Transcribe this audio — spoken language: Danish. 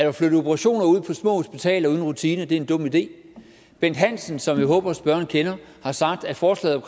at flytte operationer ud på små hospitaler uden rutine er en dum idé at bent hansen som jeg håber spørgeren kender har sagt at forslaget